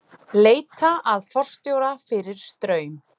Leita að forstjóra fyrir Straum